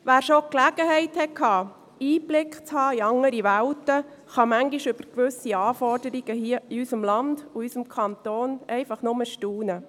Wer schon die Gelegenheit hatte, Einblick in andere Welten zu haben, kann manchmal über gewisse Anforderungen hier in unserem Land und in unserem Kanton einfach nur staunen.